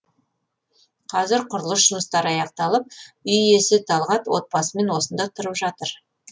қазір құрылыс жұмыстары аяқталып үй иесі талғат отбасымен осында тұрып жатыр